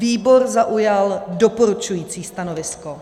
Výbor zaujal doporučující stanovisko.